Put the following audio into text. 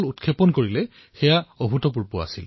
বৈজ্ঞানিকসকলৰ এই মহান তপস্যা সমগ্ৰ বিশ্বই প্ৰত্যক্ষ কৰিলে